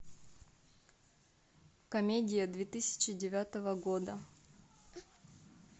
комедия две тысячи девятого года